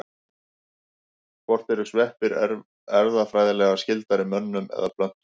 Hvort eru sveppir erfðafræðilega skyldari mönnum eða plöntum?